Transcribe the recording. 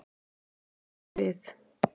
Þeir eru við.